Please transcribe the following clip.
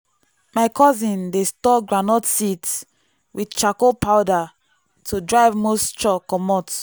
my cousin dey store groundnut seeds with charcoal powder to drive moisture comot.